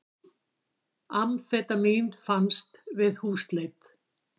Amfetamín fannst við húsleit